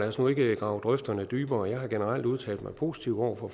os nu ikke grave grøfterne dybere jeg har generelt udtalt mig positivt over for